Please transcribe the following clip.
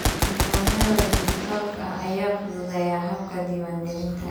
Nidaamyada dhijitaalka ah ayaa fududeeya habka diiwaangelinta.